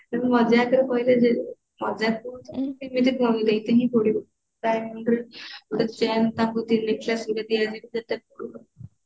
ମଜାକରେ କହିଲେ ଯେ ମଜାକ ହେଲେ କହିଲେ ମାନେ ଦବାକୁ ପଡିବ diamond ring ଗୋଟେ chain ତାଙ୍କୁ ତିନି ରେ ଦିଆଯିବ